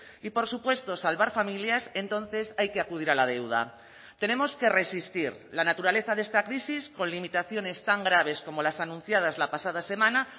y por supuesto salvar familias entonces hay que acudir a la deuda tenemos que resistir la naturaleza de esta crisis con limitaciones tan graves como las anunciadas la pasada semana